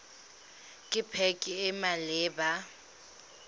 ke pac e e maleba